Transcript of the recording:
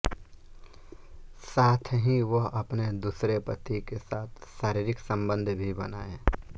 साथ ही वह अपने दूसरे पति के साथ शारीरिक संबंध भी बनाए